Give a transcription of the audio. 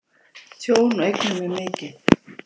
Tjón á eignum er mikið.